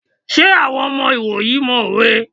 Ṣé àwọn ọmọ ìwòyí mọ òwe?